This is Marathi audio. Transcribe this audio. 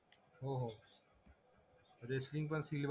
रेसलिंग पण